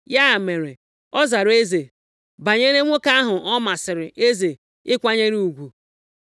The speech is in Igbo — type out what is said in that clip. Ya mere ọ zara eze, “Banyere nwoke ahụ ọ masịrị eze ịkwanyere ugwu,